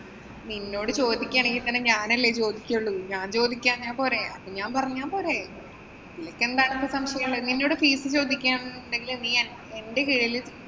നിന്നോട് ചോദിക്കുകയാണെങ്കില്‍ തന്നെ ഞാനല്ലേ ചോദിക്കയുള്ളൂ. ഞാന്‍ ചോദിക്കാഞ്ഞാ പോരെ. അപ്പൊ ഞാന്‍ പറഞ്ഞാ പോരെ. നിനക്കവിടെ എന്താണ് സംശയമുള്ളേ. നിന്നോട് fees ചോദിക്കാന്നുണ്ടെങ്കില് നീ എന്‍റെ കീഴില്